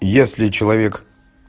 если человек